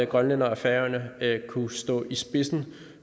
grønland og færøerne kunne stå i spidsen